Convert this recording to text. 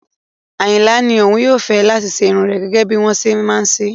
Ayinla ní òun yóò fẹ́ láti ṣe irun rẹ̀ gẹ́gẹ́ bí wome ṣe ń ṣe